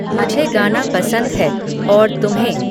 मुझे गाना पसंद है और तुम्हें